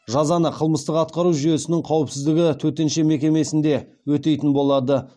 жазаны қылмыстық атқару жүйесінің қауіпсіздігі төтенше мекемесінде өтейтін болады